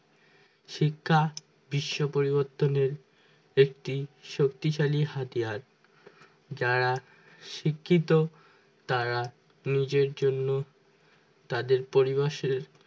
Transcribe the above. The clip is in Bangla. শিক্ষা বিশ্ব পরিবর্তনের একটি শক্তিশালী হাতিয়ারযারা শিক্ষিত তারা নিজের জন্য তাদের পরিবাসের